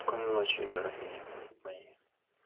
спокойной ночи дорогие мои